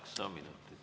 Kaheksa minutit.